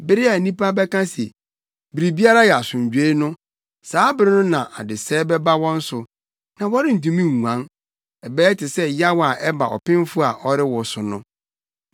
Bere a nnipa bɛka se, “Biribiara yɛ asomdwoe” no, saa bere no na adesɛe bɛba wɔn so. Na wɔrentumi nguan. Ɛbɛyɛ te sɛ yaw a ɛba ɔpemfo a ɔrewo so no.